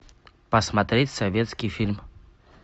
посмотреть советский фильм